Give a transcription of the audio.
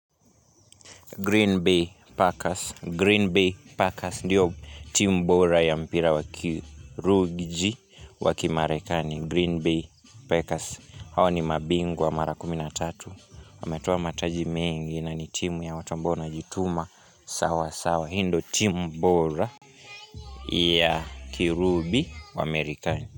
Green Bay Packers Green Bay Packers Ndio timu bora ya mpira wakirugji Wakimarekani Green Bay Packers Hawa ni mabingwa mara kumi na tatu wametoa mataji mingi na ni timu ya watu ambao wanajituma sawasawa hii ndio timu bora ya kirubi wa amerikani.